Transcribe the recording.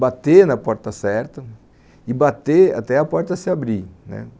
bater na porta certa e bater até a porta se abrir, né